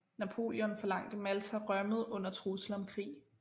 Napoleon forlangte Malta rømmet under trussel om krig